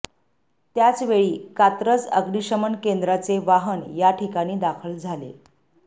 त्याचवेळी कात्रज अग्निशमन केंद्राचे वाहन या ठिकाणी दाखल झाले